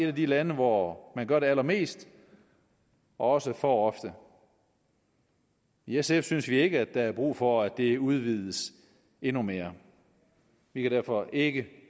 af de lande hvor man gør det allermest og også for ofte i sf synes vi ikke der er brug for at det udvides endnu mere vi kan derfor ikke